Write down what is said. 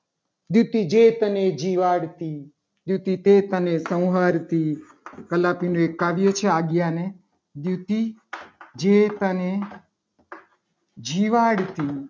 યુક્તિ વેદને જીવાડતી યુવતી વેદને સહારતી કલાનું એક કાવ્ય છે. આજ્ઞા ને યુક્તિ જેઠને જીવાદતી